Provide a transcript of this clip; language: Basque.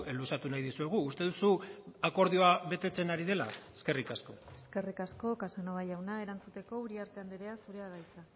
luzatu nahi dizuegu uste duzu akordioa betetzen ari dela eskerrik asko eskerrik asko casanova jauna erantzuteko uriarte andrea zurea da hitza